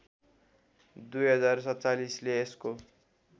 २०४७ ले यसको